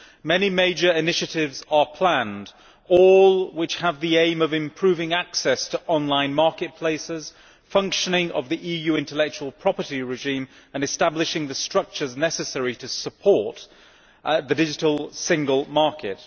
Many major initiatives are planned, all of which have the aim of improving access to online marketplaces, functioning of the EU intellectual property regime and establishing the structures necessary to support the digital single market.